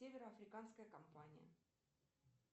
северо африканская компания